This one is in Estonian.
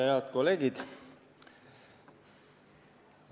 Head kolleegid!